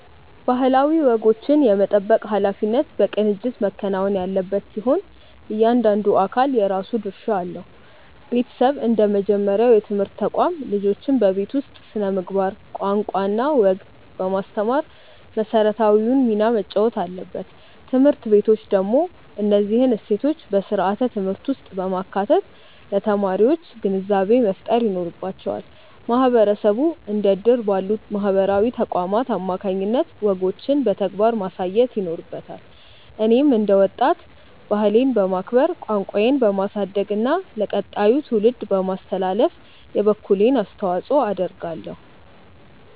ባህላዊ ወጎችን የመጠበቅ ኃላፊነት በቅንጅት መከናወን ያለበት ሲሆን፣ እያንዳንዱ አካል የራሱ ድርሻ አለው። ቤተሰብ እንደ መጀመሪያው የትምህርት ተቋም፣ ልጆችን በቤት ውስጥ ስነ-ምግባር፣ ቋንቋና ወግ በማስተማር መሰረታዊውን ሚና መጫወት አለበት። ትምህርት ቤቶች ደግሞ እነዚህን እሴቶች በስርዓተ-ትምህርት ውስጥ በማካተት ለተማሪዎች ግንዛቤ መፍጠር ይኖርባቸዋል። ማህበረሰቡ እንደ እድር ባሉ ማህበራዊ ተቋማት አማካኝነት ወጎችን በተግባር ማሳየት ይኖርበታል። እኔም እንደ ወጣት፣ ባህሌን በማክበር፣ ቋንቋዬን በማሳደግና ለቀጣዩ ትውልድ በማስተላለፍ የበኩሌን አስተዋጽኦ አደርጋለሁ።